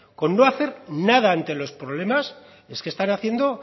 con no hacer nada ante los problemas es que están haciendo